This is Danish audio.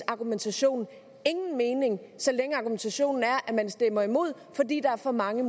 argumentation ingen mening så længe argumentationen er at man stemmer imod fordi der er for mange